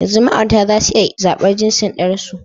Yanzu ma'aurata za su iya zaɓar jinsin ɗansu.